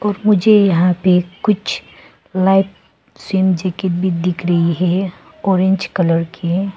मुझे यहां पे कुछ लाइट सेम जैकेट दिख रही है ऑरेंज कलर के।